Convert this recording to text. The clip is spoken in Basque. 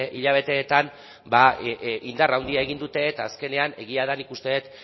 hilabeteetan indar handia egin dute eta azkenean egia da nik uste dut